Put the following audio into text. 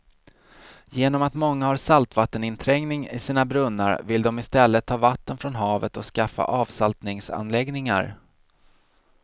Genom att många har saltvatteninträngning i sina brunnar vill de i stället ta vatten från havet och skaffa avsaltningsanläggningar.